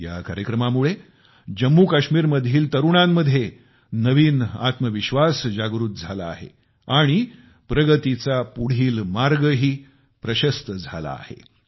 या कार्यक्रमामुळे जम्मूकाश्मीरमधील तरुणांमध्ये नवा आत्मविश्वास जागृत झाला आहे आणि प्रगतीचा पुढील मार्गही प्रशस्त झाला आहे